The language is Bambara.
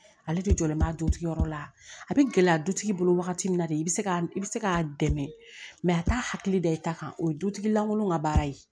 Ale de jɔlen b'a dutigi yɔrɔ la a bɛ gɛlɛya dutigi bolo wagati min na de i bɛ se k'a i bɛ se k'a dɛmɛ a t'a hakili da i ta kan o ye dutigi lankolon ka baara ye